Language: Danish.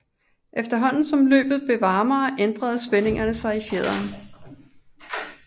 Efterhånden som løbet blev varmere ændrede spændingen sig i fjederen